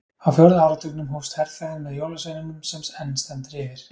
á fjórða áratugnum hófst herferðin með jólasveininum sem enn stendur yfir